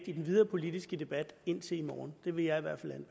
i den videre politiske debat indtil i morgen det vil jeg i hvert